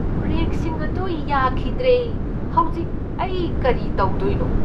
ꯕ꯭ꯔꯦꯛꯁꯤꯡ ꯑꯗꯨ ꯌꯥꯈꯤꯗ꯭ꯔꯦ꯫ ꯍꯧꯖꯤꯛ ꯑꯩ ꯀꯔꯤ ꯇꯧꯗꯣꯏꯅꯣ?